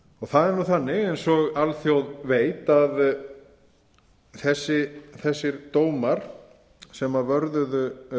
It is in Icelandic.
það er þannig eins og alþjóð veit að þessir dómar sem vörðuðu